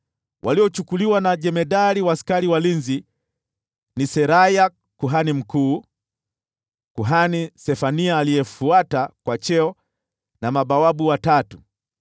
Yule jemadari wa askari walinzi akawachukua kama wafungwa Seraya kuhani mkuu, kuhani Sefania aliyefuata kwa cheo, na mabawabu watatu.